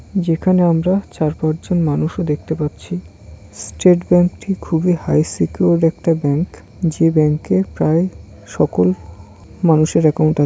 যেখানে আমরা চার পাঁচ জন মানুষও দেখতে পাচ্ছি স্টেট ব্যাঙ্ক -টি খুবই হাই সিকিওরড একটা ব্যাঙ্ক যে ব্যাঙ্কে প্রায় সকল মানুষের অ্যাকাউন্ট আ--